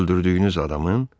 Öldürdüyünüz adamın?